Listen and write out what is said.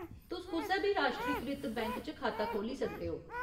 तुस कुसै बी राश्ट्रीकृत बैंक च खाता खोह्ल्ली सकदे ओ।